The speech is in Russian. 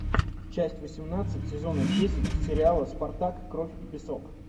часть восемнадцать сезона десять сериала спартак кровь и песок